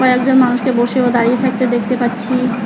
কয়েকজন মানুষকে বসে ও দাঁড়িয়ে থাকতে দেখতে পাচ্ছি।